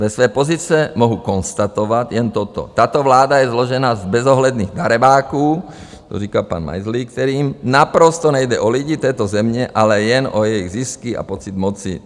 Ze své pozice mohu konstatovat jen toto, tato vláda je složena z bezohledných darebáků, to říká pan Majzlík, kterým naprosto nejde o lidi této země, ale jen o jejich zisky a pocit moci.